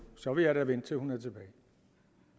så vil jeg da vente til hun er tilbage